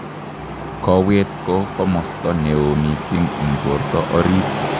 Kowet ko komosto neoo mising' eng' borto orit